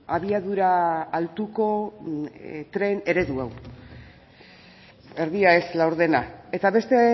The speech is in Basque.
abiadura altuko tren eredu hau erdia ez laurdena eta beste